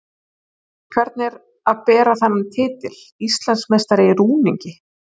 Hvernig er að bera þennan titil: Íslandsmeistari í rúningi?